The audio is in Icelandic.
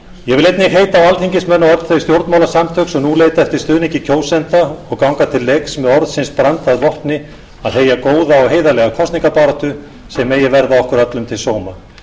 ég vil einnig heita á alþingismenn og öll þau stjórnmálasamtök sem nú leita eftir stuðningi kjósenda og ganga til leiks með orðsins brand að vopni að heyja góða og heiðarlega kosningabaráttu sem megi verða okkur öllum til sóma